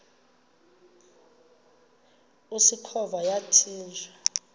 usikhova yathinjw a